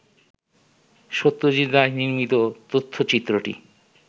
সত্যজিৎ রায় নির্মিত তথ্যচিত্রটি